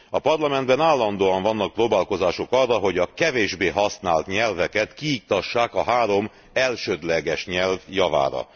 A Parlamentben állandóan vannak próbálkozások arra, hogy a kevésbé használt nyelveket kiiktassák a három elsődleges nyelv javára.